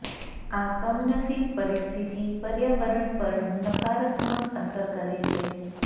આ કમનસીબ પરિસ્થિતિ પર્યાવરણ પર નકારાત્મક અસર કરે છે